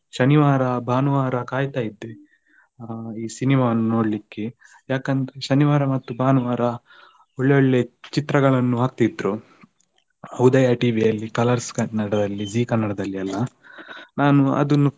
ಶನಿವಾರ ಭಾನುವಾರ ಕಾಯ್ತಾ ಇದ್ದೆ cinema ವನ್ನು ನೋಡ್ಲಿಕ್ಕೆ. ಯಾಕಂದ್ರೆ ಶನಿವಾರ ಮತ್ತು ಭಾನುವಾರ ಒಳ್ಳೊಳ್ಳೆ ಚಿತ್ರಗಳನ್ನು ಹಾಕ್ತಿದ್ರು. Udaya TV ಯಲ್ಲಿ, Colors Kannada ದಲ್ಲಿ, Zee Kannada ದಲ್ಲಿ ಎಲ್ಲಾ ನಾನು ಅದನ್ನು.